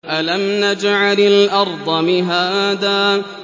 أَلَمْ نَجْعَلِ الْأَرْضَ مِهَادًا